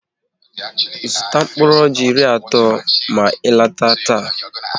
Zụta mkpụrụ ọjị iri na atọ ma ị lọtaba taa!